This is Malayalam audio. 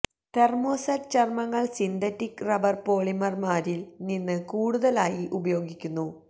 തെർമോസറ്റ് ചർമ്മങ്ങൾ സിന്തറ്റിക് റബ്ബർ പോളിമർമാരിൽ നിന്ന് കൂടുതലായി ഉപയോഗിക്കുന്നു